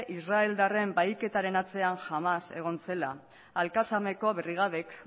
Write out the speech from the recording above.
israeldarren bahiketaren atzean hamás egon zela alkamaseko brigadek